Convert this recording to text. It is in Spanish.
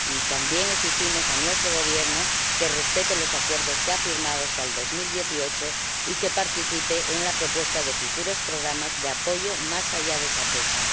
También exigimos a nuestro Gobierno que respete los acuerdos que ha firmado hasta 2018 y que participe en la propuesta de futuros programas de apoyo más allá de esa fecha.